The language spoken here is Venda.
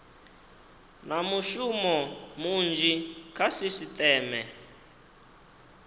na mushumo munzhi kha sisiteme